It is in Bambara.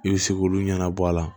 I bɛ se k'olu ɲɛnabɔ a la